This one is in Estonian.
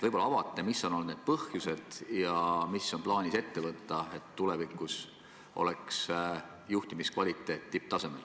Võib-olla te avate, mis on olnud selle põhjuseks ja mida on plaanis ette võtta, et tulevikus oleks juhtimiskvaliteet tipptasemel.